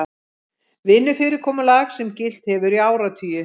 Vinnufyrirkomulag sem gilt hefur í áratugi